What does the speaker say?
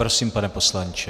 Prosím, pane poslanče.